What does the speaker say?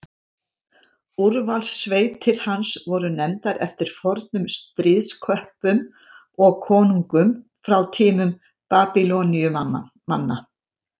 úrvalssveitir hans voru nefndar eftir fornum stríðsköppum og konungum frá tímum babýloníumanna